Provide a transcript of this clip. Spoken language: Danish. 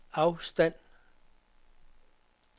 afstand